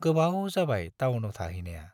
गोबाव जाबाय टाउनाव थाहैनाया।